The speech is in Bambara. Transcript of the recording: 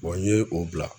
n ye o bila